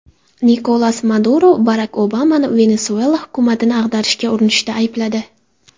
Nikolas Maduro Barak Obamani Venesuela hukumatini ag‘darishga urinishda aybladi.